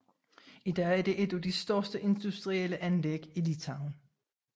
I dag er det et af de største industrielle anlæg i Litauen